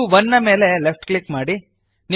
view 1 ನ ಮೇಲೆ left click ಮಾಡಿರಿ